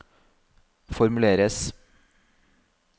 formuleres